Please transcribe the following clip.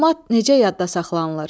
Məlumat necə yadda saxlanılır?